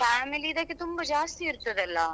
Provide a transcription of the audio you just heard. Family ದಕ್ಕೆ ತುಂಬಾ ಜಾಸ್ತಿ ಇರ್ತದಲ್ಲ.